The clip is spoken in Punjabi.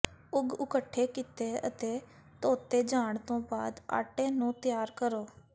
ਉਗ ਇਕੱਠੇ ਕੀਤੇ ਅਤੇ ਧੋਤੇ ਜਾਣ ਤੋਂ ਬਾਅਦ ਆਟੇ ਨੂੰ ਤਿਆਰ ਕਰੋ